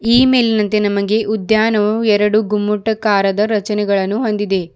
ಈ ಮೇಲಿನಂತೆ ನಮಗೆ ಉದ್ಯಾನವು ಎರಡು ಗುಮ್ಮುಟ ಕಾರದ ರಚನೆಗಳನ್ನು ಹೊಂದಿದೆ.